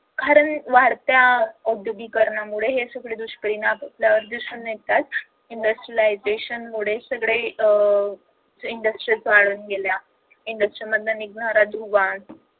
कारण वाढत्या औद्योगीकरणामुळे हे सगळे दुष्परिणाम आपल्याला दिसून येतात industrialisation मुळे सगळं अह industries वाढत गेल्या industries मधून निघणारा धुवा